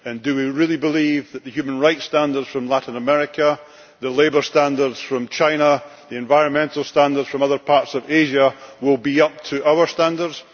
Do we really believe that the human rights standards from Latin America, the labour standards from China, the environmental standards from other parts of Asia, will be up to our standards?